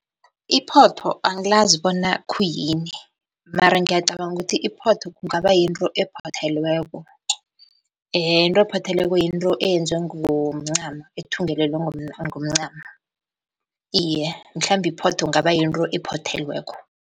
Iphotho angilazi bona khuyini mara ngiyacabanga ukuthi iphotho kungaba yinto ephothelweko, into ephothelweko yinto eyenziwe ngomncamo ethungelelwe ngomncamo. Iye, mhlambe iphotho kungaba yinto ephothelweko.